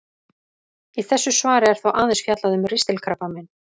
Í þessu svari er þó aðeins fjallað um ristilkrabbamein.